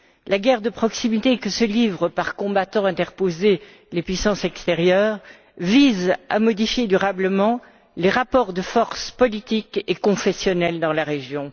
La guerre de proximité que se livrent, par combattants interposés, les puissances extérieures, vise à modifier durablement les rapports de force politiques et confessionnels dans la région.